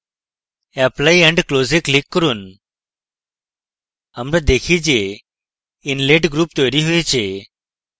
apply and close we click করুন আমরা দেখি যে inlet group তৈরী হয়েছে